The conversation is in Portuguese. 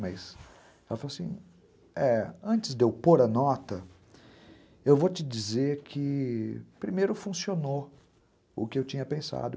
Mas, ela falou assim, antes de eu pôr a nota, eu vou te dizer que... primeiro funcionou o que eu tinha pensado.